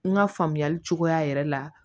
N ka faamuyali cogoya yɛrɛ la